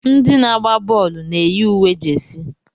Ndị na-agba bọọlụ na-eyi uwe jesi.